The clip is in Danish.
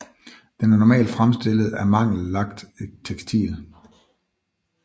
Den er normal fremstillet af mangel lagt tekstil